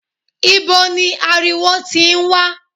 Ibo ni ariwo tí ń wá?